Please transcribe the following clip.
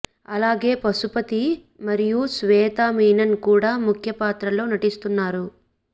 అలాగే పశుపతి మరియు శ్వేత మీనన్ కూడా ముఖ్య పాత్రల్లో నటిస్తున్నారు